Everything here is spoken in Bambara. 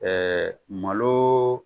Ɛɛ malo